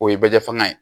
O ye bɛjɛ faŋa ye